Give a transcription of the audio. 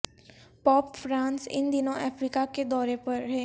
pope Francis ان دنوں افریقہ کے دورے پر ہیں